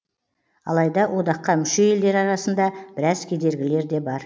алайда одаққа мүше елдер арасында біраз кедергілер де бар